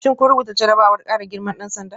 Shin kun rubuta jarrabawar kara girman dan sanda?